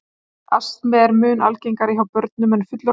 Astmi er mun algengari hjá börnum en fullorðnum.